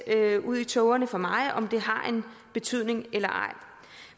ud i tågerne for mig om det har en betydning eller ej